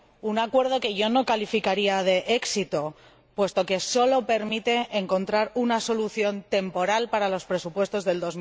Un acuerdo que yo no calificaría de éxito, puesto que solo permite encontrar una solución temporal para los presupuestos de